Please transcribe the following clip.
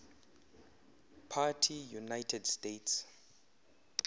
party united states